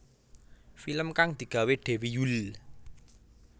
Film kang digawé Dewi Yull